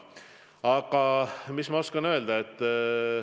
Aga mis ma oskan öelda?